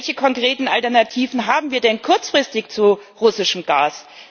Welche konkreten Alternativen haben wir denn kurzfristig zu russischem Gas?